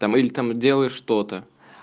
там или там делаешь что-то